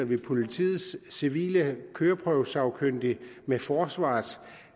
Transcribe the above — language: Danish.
vi politiets civile køreprøvesagkyndige med forsvarets